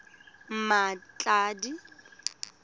mmatladi